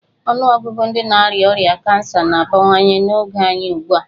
Ọnụọgụgụ ndị na-arịa ọrịa kansa na-abawanye n'oge anyị ugbu a.